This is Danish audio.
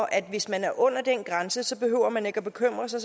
at hvis man er under den grænse behøver man ikke at bekymre sig